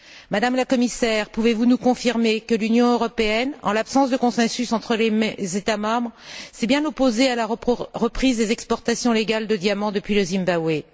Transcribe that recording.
Madame la Commissaire, pouvez vous nous confirmer que l'Union européenne, en l'absence de consensus entre les États membres, s'est bien opposée à la reprise des exportations légales de diamants depuis le Zimbabwe